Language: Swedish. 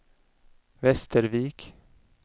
Västervik